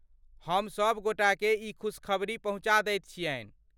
हम सभ गोटाके ई खुशखबरी पहुँचा दैत छियन्हि।